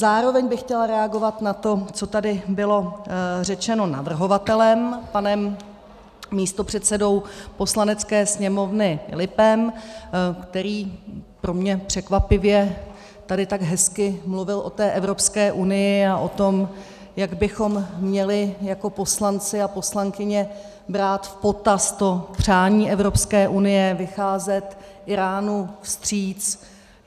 Zároveň bych chtěla reagovat na to, co tady bylo řečeno navrhovatelem, panem místopředsedou Poslanecké sněmovny Filipem, který pro mě překvapivě tady tak hezky mluvil o té Evropské unii a o tom, jak bychom měli jako poslanci a poslankyně brát v potaz to přání Evropské unie, vycházet Íránu vstříc.